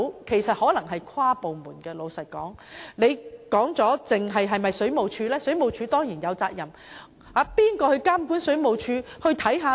問題可能需要跨部門負責，不只關乎水務署，因為水務署固然有責任，但政府內由誰監管水務署？